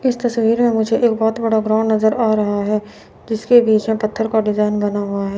इस तस्वीर में मुझे एक बहुत बड़ा ग्राउंड नजर आ रहा है जिसके बीच में पत्थर का डिजाइन बना हुआ है।